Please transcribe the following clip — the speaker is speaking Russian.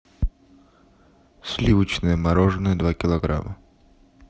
сливочное мороженое два килограмма